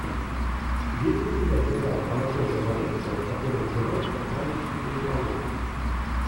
есть ли у тебя сериал анатолия валевского который называется праздничный переполох